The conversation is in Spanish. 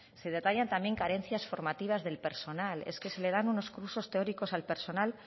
se detallan también carencias formativas del personal es que se le dan unos cursos teóricos al personal